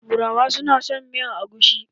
Turawa su na son miyar agushi.